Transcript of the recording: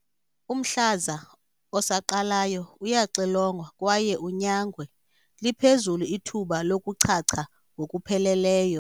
Umhlaza osaqalayo uyaxilongwa kwaye unyangwe, liphezulu ithuba lokuchacha ngokupheleleyo.